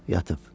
Yatıb.